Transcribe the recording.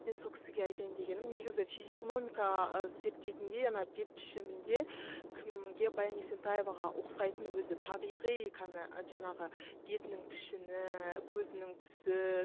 мен сол кісіге айтайын дегенім негізі физиономика зерттейтіндей ана бет пішімінде кімге баян есентаеваға ұқсайтын өзі табиғи жаңағы бетінің пішіні көзінің түсі